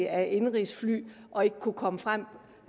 af indenrigsfly og ikke kunne komme frem